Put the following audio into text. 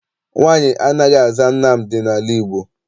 Nwaanyị anaghị aza Nnamdị n'ala Igbo.